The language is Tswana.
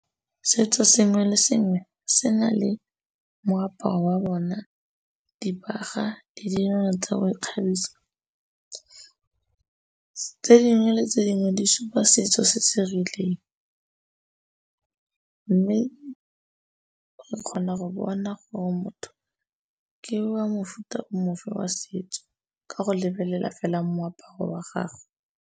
Setso sengwe le sengwe se na le moaparo wa bona, dibaga le tsa go ikgabisa. Tse dingwe le tse dingwe di supa setso se se rileng, mme o kgona go bona gore motho ke wa mofuta mofe wa setso ka go lebelela fela moaparo wa gagwe.